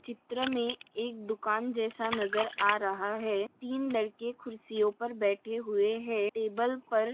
चित्र में एक दुकान जैसा नजर आ रहा है तीन लड़के कुर्सियों पर बैठे हुए है टेबल पर--